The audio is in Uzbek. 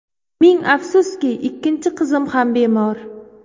Ming afsuski, ikkinchi qizim ham bemor.